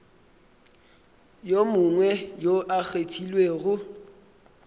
yo mongwe yo a kgethilwego